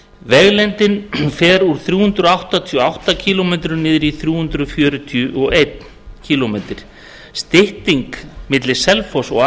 vegalengdin fer úr þrjú hundruð áttatíu og átta kílómetra niður í þrjú hundruð fjörutíu og einn kílómetri stytting milli selfoss og